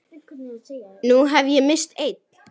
Nú hef ég misst einn.